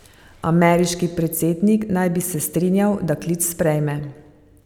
Ameriški predsednik naj bi se strinjal, da klic sprejme.